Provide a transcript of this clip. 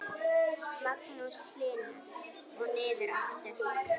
Magnús Hlynur: Og niður aftur?